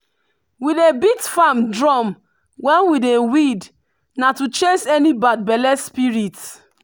we dey beat farm drum when we dey weed na to chase any bad belle spirit.